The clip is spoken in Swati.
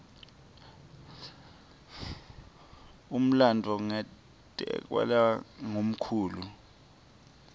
umlandvo ngatekelwa ngumkhulu